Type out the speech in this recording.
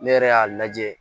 Ne yɛrɛ y'a lajɛ